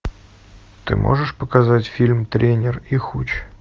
ты можешь показать фильм тренер и хуч